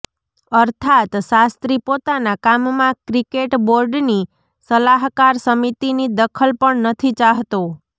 અર્થાત્ શાસ્ત્રી પોતાના કામમાં ક્રિકેટ બોર્ડની સલાહકાર સમિતિની દખલ પણ નથી ચાહતો